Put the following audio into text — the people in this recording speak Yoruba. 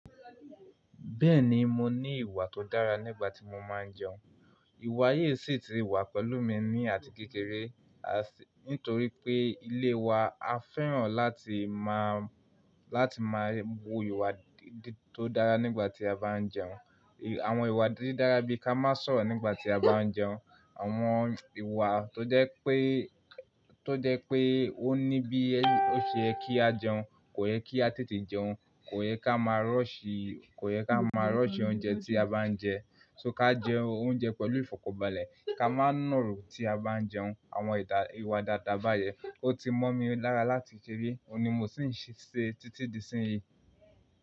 Bẹ́ẹ̀ni, mo ní ìwà tó dára nígbà tí mo máa ń jẹun. Ìwà yìí sì ti wà pẹ̀lú mi ní àtíkéré, àṣ-- nítorí pé ilé wa a fẹ́ràn láti máa, láti máa bu ìwà tó dára nígbà tí a bá ń jẹun. Àwọn ìwà díídára bí i ká má sọ̀rọ̀ nígbà tí a bá ń jẹun, àwọn ìwà tó jẹ́ pé, tó jẹ́ pé ó ní bí ó ṣeye kí a jẹun, kò yẹ kí a tètè jẹun, kò yẹ ká má rọ́ọ̀ṣì, kò yẹ ká má rọ́ọ̀ṣì oúnjẹ tí a bá ń jẹ, ṣo ká jẹ oúnjẹ pẹ̀lú ìfọ̀kànbalẹ̀, ká má nàró tí a bá ń jẹun, àwọn ìdà- ìwà dáadáa báyẹn, ó ti mọ́ mi lára láti kekéré, òun ni mo sì ń ṣe títí di ìsinyi.